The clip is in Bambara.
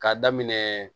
K'a daminɛ